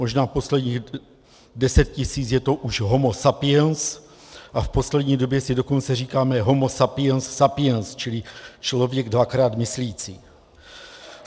Možná posledních deset tisíc je to už homo sapiens a v poslední době si dokonce říkáme homo sapiens sapiens, čili člověk dvakrát myslící.